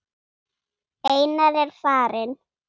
Einar er farinn.